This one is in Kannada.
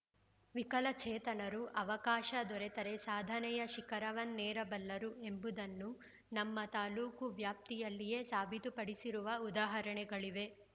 ವಿಕಲಚೇತನರು ಅವಕಾಶ ದೊರೆತರೆ ಸಾಧನೆಯ ಶಿಖರವನ್ನೇರಬಲ್ಲರು ಎಂಬುದನ್ನು ನಮ್ಮ ತಾಲೂಕು ವ್ಯಾಪ್ತಿಯಲ್ಲಿಯೇ ಸಾಬೀತುಪಡಿಸಿರುವ ಉದಾಹರಣೆಗಳಿವೆ